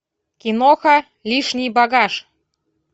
киноха лишний багаж